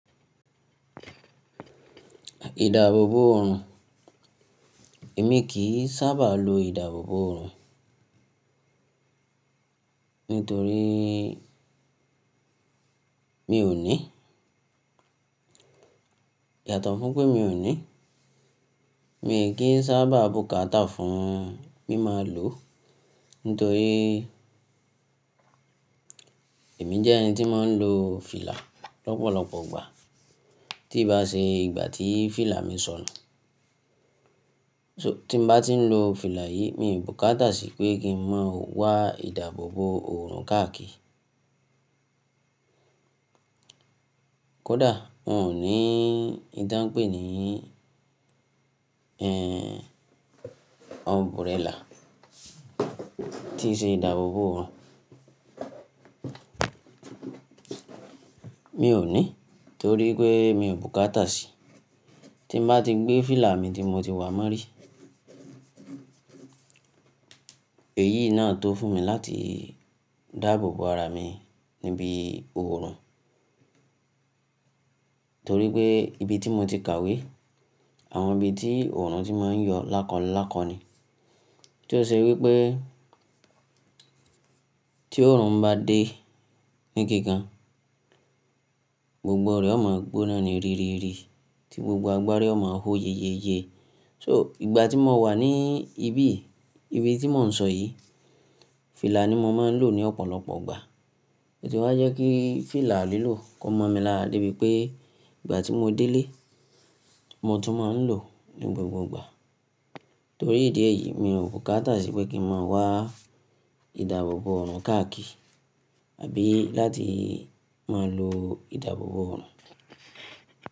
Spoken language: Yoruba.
Ìdáàbòbò òòrùn, èmi kì í sábà lo ìdáàbòbò òòrùn nítorí mi ò ní. Yàtọ̀ fún pé mi ò ní, mi kì í sábà bùkátà fún mí máa lò nítorí èmi jẹ́ ẹni tí máa ń lo fìlà lọ́pọ̀lọpọ̀ ìgbà. Tí ì bá ṣe ìgbà tí fìlà mi sọnù. So tí mo bá tí ń lo fìlà yìí, mi ò bùkátà sí pé kí n má wá ìdáàbòbò òòrùn káàkiri. Kódà wọn ò ní ntàn pé ni umbrella tí í ṣe ìdáàbòbò oorun Mi ò ní torí pé mi ò bùkátà sí. Tí mo bá ti gbé fìlà mi tí mo ti wá mọ́rí, èyí náà tó fún mi láti dáàbòbo ara mi níbi òòrùn. Torí pé ibi tí mo ti kàwé, àwọn ibi tí òòrùn ti máa ń yọ lákolákọ ni. Tí ó ṣe wí pé tí òòrùn bá dé ní kikan, gbogbo rẹ́ ọ máa gbóná ní ririri tí gbogbo agbárí ọ máa ó yeyeye. So ìgbà tí mo wà ní ibí yìí, ibi tí mò ń sọ yìí, fìlà ni mo máa ń lò ní ọ̀pọ̀lọpọ̀ ìgbà. Oti wa jẹ́ kí fìlà lílò kó mọ́ mi lára débi pé ìgbà tí mo dé ilé, mo tún máa ń lò ní gbogbo ìgbà. Torí ìdí èyí, mi ò bùkátà sí pé kí n má wá ìdáàbòbò òòrùn káàkiri àbí láti máa lo ìdáàbòbò òòrùn.